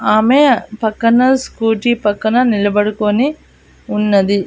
ఆమె పక్కన స్కూటీ పక్కన నిలబడుకోని ఉన్నది.